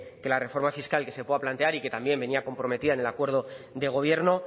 que la reforma fiscal que se pueda plantear y que también venía comprometida en el acuerdo de gobierno